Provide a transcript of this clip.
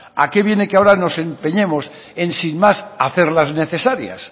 a qué viene que ahora que nos empeñemos en sin más hacerlas necesarias